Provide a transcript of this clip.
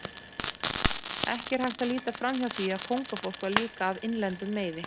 Ekki er hægt að líta framhjá því að kóngafólk var líka af innlendum meiði.